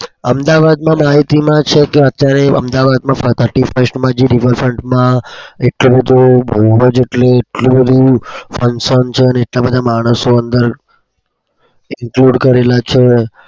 અમદાવાદમાં માહિતીમાં છે કે અત્યારે અમદાવાદમાં thirty first માં છે river front માં એટલું બઉ જ બઉ જ એટલે એટલું બધું